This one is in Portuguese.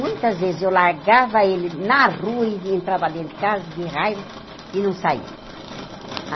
Muitas vezes eu largava ele na rua e entrava dentro de casa, de raiva, e não saía.